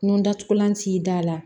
Nun datugulan t'i da la